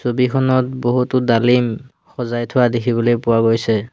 ছবিখনত বহুতো ডালিম সজাই থোৱা দেখিবলৈ পোৱা গৈছে।